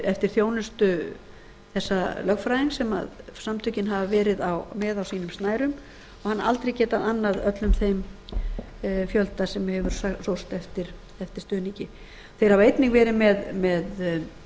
eftir þjónustu þessa lögfræðings sem samtökin hafa verið með á sínum snærum og hann aldrei getað annað öllum þeim fjölda sem hefur síst eftir stuðningi þeir hafa einnig verið með